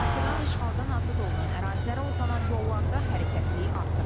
Bakıdan işğaldan azad olunan ərazilərə uzanan yollarda hərəkətliyi artır.